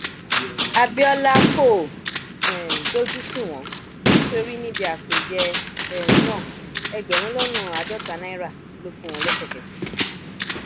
abiola kò um dójú tì wọn nítorí níbi àpèjẹ um náà ẹgbẹrún lọnàá àádọta náírà ló fún wọn lẹsẹkẹsẹ